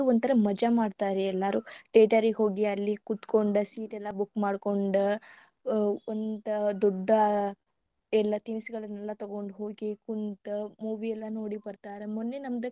ಮಜಾ ಮಾಡ್ತರರಿ ಎಲ್ಲಾರು theatre ಗೆ ಹೋಗಿ ಅಲ್ಲಿ ಕೂತ್ಕೊಂಡ seat ಎಲ್ಲಾ book ಮಾಡ್ಕೊಂಡ ವ~ ಒಂದ ದೊಡ್ಡ ಎಲ್ಲಾ ತಿನಸಗಳನ್ನೆಲ್ಲಾ ತೊಗೊಂಡ ಹೋಗಿ ಕುಂತ movie ಎಲ್ಲಾ ನೋಡಿ ಬರ್ತಾರ ಮೊನ್ನೆ ನಮ್ಮದ.